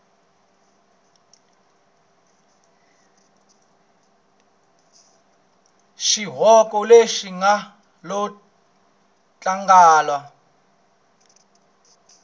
swihoxo leswi nga lo tlangandla